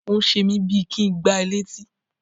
Ó ń ṣe mí bíi kí ń gbá ẹ létí.